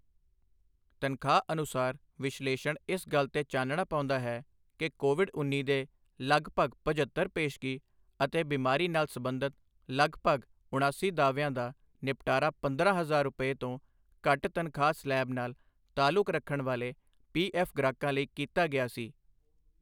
ਤਨਖਾਹ ਅਨੁਸਾਰ ਵਿਸ਼ਲੇਸ਼ਣ ਇਸ ਗੱਲ ਤੇ ਚਾਨਣਾ ਪਾਉਂਦਾ ਹੈ ਕਿ ਕੋਵਿਡ ਉੱਨੀ ਦੇ ਲਗਭਗ ਪਝੱਤਰ ਪੇਸ਼ਗੀ ਅਤੇ ਬਿਮਾਰੀ ਨਾਲ ਸਬੰਧਤ ਲਗਭਗ ਉਣਾਸੀ ਦਾਅਵਿਆਂ ਦਾ ਨਿਪਟਾਰਾ ਪੰਦਰਾਂ ਹਜ਼ਾਰ ਰੁਪਏ, ਤੋਂ ਘੱਟ ਤਨਖਾਹ ਸਲੈਬ ਨਾਲ ਤਾਲੁਕ ਰਖਣ ਵਾਲੇ ਪੀ ਐੱਫ਼ ਗ੍ਰਾਹਕਾਂ ਲਈ ਕੀਤਾ ਗਿਆ ਸੀ।